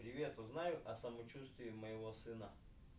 привет узнай о самочувствие моего сына